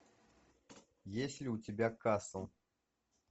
есть ли у тебя касл